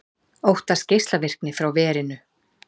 Óttast geislavirkni frá verinu